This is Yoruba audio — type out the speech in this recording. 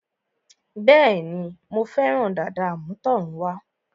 Bẹ́ẹ̀ni, Mo fẹ́ràn dàda àmútọ̀runwá